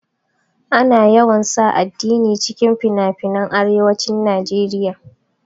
Ana yawan sa addini cikin finafinan arewacin naeriya